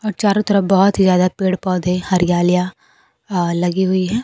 चारों तरफ बहोत ही ज्यादा पेड़ पौधे हरियालिया आ लगी हुई है।